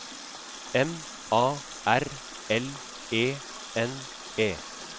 M A R L E N E